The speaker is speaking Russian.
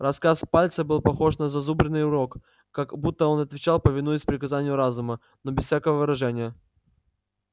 рассказ пальца был похож на зазубренный урок как будто он отвечал повинуясь приказанию разума но без всякого выражения